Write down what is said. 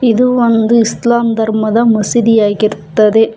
ಇದು ಒಂದು ಇಸ್ಲಾಂ ಧರ್ಮದ ಮಸೀದಿಯಾಗಿರುತ್ತದೆ.